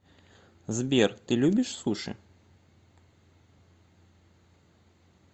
сбер ты любишь суши